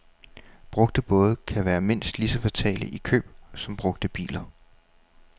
Brugte både kan være mindst lige så fatale i køb som brugte biler.